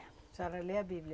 A senhora lê a Bíblia?